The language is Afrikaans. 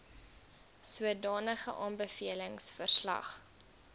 sodanige aanbevelings verslag